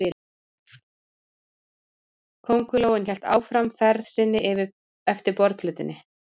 Kóngulóin hélt áfram ferð sinni eftir borðplötunni.